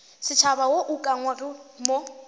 setšhaba wo o ukangwego mo